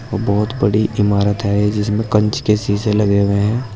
और बहुत बड़ी इमारत है जिसमें कंच के शीशे लगे हुए हैं।